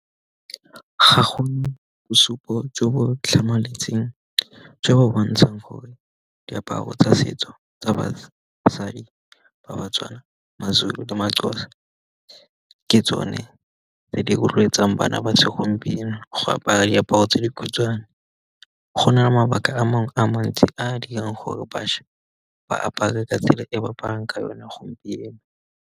Ga go bosupo jo bo tlhamaletseng jo bo bontshang gore diaparo tsa setso tsa basadi ba Batswana, Mazulu le Maxhosa ke tsone tse di rotloetsang bana ba segompieno go apara diaparo tse dikhutshwane. Go na le mabaka a mangwe a mantsi a a dirang gore bašwa ba apare ka tsela e ba aparang ka yone a gompieno.